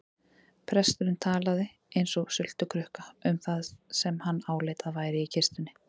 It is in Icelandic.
Presturinn talaði eins og sultukrukka um það sem hann áleit að væri í kistunni.